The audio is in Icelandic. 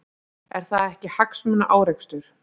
Er það ekki hagsmunaárekstur?